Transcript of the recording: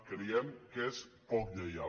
creiem que és poc lleial